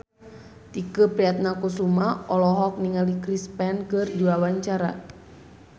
Tike Priatnakusuma olohok ningali Chris Pane keur diwawancara